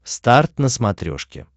старт на смотрешке